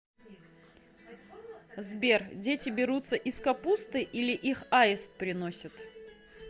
сбер дети берутся из капусты или их аист приносит